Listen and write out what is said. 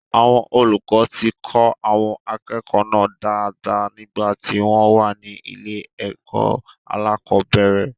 Àwọn olùkọ ti kọ́ àwọn akẹ́kọ̀ọ́ náà dáadáa nígbà tí wọ́n wà ní ilé-ẹ̀kó aláàkọ́bẹ̀rẹ̀.